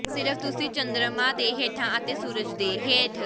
ਸਿਰਫ਼ ਤੁਸੀਂ ਚੰਦਰਮਾ ਦੇ ਹੇਠਾਂ ਅਤੇ ਸੂਰਜ ਦੇ ਹੇਠ